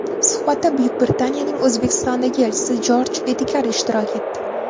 Suhbatda Buyuk Britaniyaning O‘zbekistondagi elchisi Jorj Edgar ishtirok etdi.